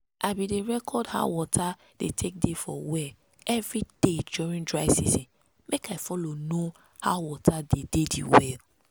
i bin dey record how water dey take dey for well everyday during dry season make i follow know how water dey dey the well.